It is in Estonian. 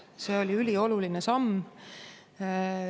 See oli ülioluline samm.